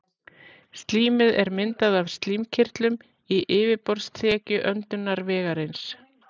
slímið er myndað af slímkirtlum í yfirborðsþekju öndunarvegarins